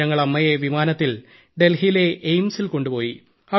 പിന്നെ ഞങ്ങൾ അമ്മയെ വിമാനത്തിൽ ഡൽഹിയിലെഎയിംസിൽ കൊണ്ടുപോയി